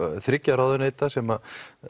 þriggja ráðuneyta sem